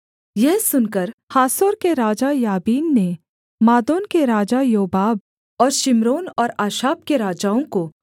यह सुनकर हासोर के राजा याबीन ने मादोन के राजा योबाब और शिम्रोन और अक्षाप के राजाओं को